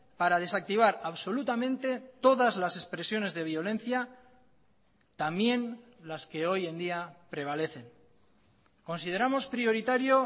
para desactivar absolutamente todas las expresiones de violencia también las que hoy en día prevalecen consideramos prioritario